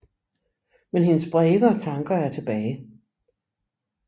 Men hendes breve og tanker er tilbage